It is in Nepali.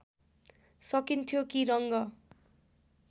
सकिन्थ्यो कि रङ्ग